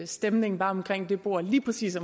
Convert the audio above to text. stemningen var omkring det bord lige præcis